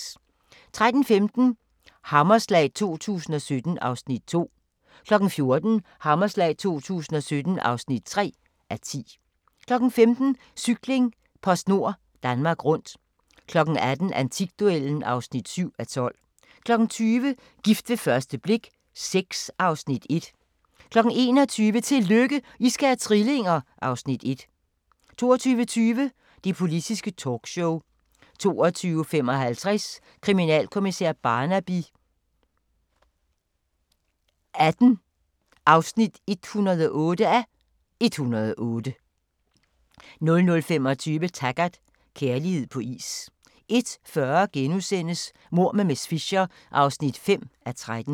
13:15: Hammerslag 2017 (2:10) 14:00: Hammerslag 2017 (3:10) 15:00: Cykling: PostNord Danmark Rundt 18:00: Antikduellen (7:12) 20:00: Gift ved første blik VI (Afs. 1) 21:00: Tillykke, I skal have trillinger! (Afs. 1) 22:20: Det Politiske Talkshow 22:55: Kriminalkommissær Barnaby XVIII (108:108) 00:25: Taggart: Kærlighed på is 01:40: Mord med miss Fisher (5:13)*